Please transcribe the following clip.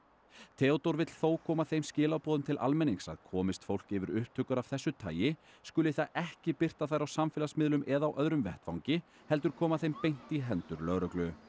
Theódór vill þó koma þeim skilaboðum til almennings að komist fólk yfir upptökur af þessu tagi skuli það ekki birta þær á samfélagsmiðlum eða á öðrum vettvangi heldur koma þeim beint í hendur lögreglu